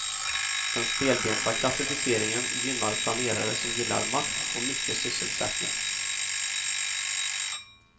Den stelbenta klassificeringen gynnar planerare som gillar makt och mycket sysselsättning.